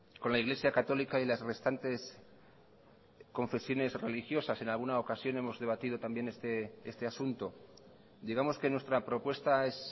con la iglesia católica y las restantes confesiones religiosas en alguna ocasión hemos debatido también este asunto digamos que nuestra propuesta es